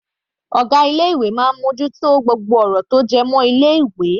Ọ̀gá ilé ìwé máa ń mú ojú tó gbogbo ọ̀rọ̀ tó jẹ́ mọ́ ilé ìwé.